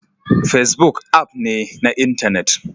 Facebook app ne na intanet